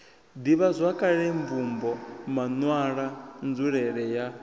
ḓivhazwakale mvumbo maṋwalwa nzulele ya